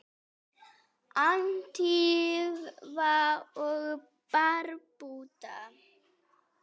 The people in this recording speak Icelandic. Antígva og Barbúda